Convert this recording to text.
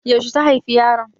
Yauce ta haifi yaron?